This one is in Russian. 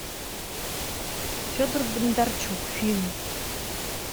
федор бондарчук фильм